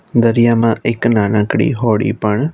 દરિયામાં એક નાનકડી હોડી પણ--